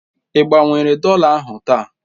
Ị gbanwere dọla ahụ taa?